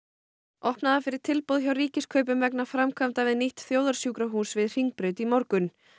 opnað var fyrir tilboð hjá Ríkiskaupum vegna framkvæmda við nýtt þjóðarsjúkrahús við Hringbraut í morgun